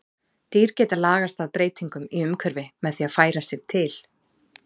Dýr geta lagast að breytingum í umhverfi með því að færa sig til.